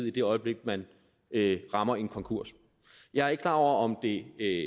i det øjeblik man rammer en konkurs jeg er ikke klar over om det er i